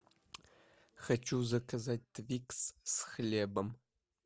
хочу заказать твикс с хлебом